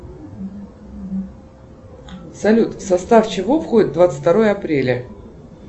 салют в состав чего входит двадцать второе апреля